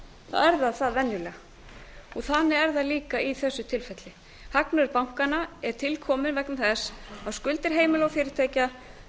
það það venjulega þannig er það líka í þessu tilfelli hagnaður bankanna er til kominn vegna þess að skuldir heimila og fyrirtækja